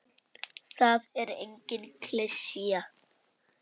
Það er engin klisja.